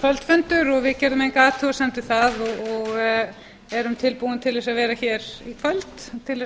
kvöldfundur og við gerðum enga athugasemd við það og erum tilbúin að vera hér í kvöld til að